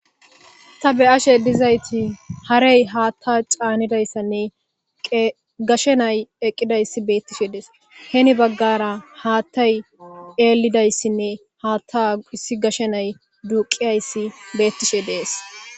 Ta be'ashe dizayti harey haatta caanidayssanne gashe nay eqqidayssi beettishe dees heni baggara haattay eelidayssinne haatta hissi gashe nay duuqiyayssi beettishe dees.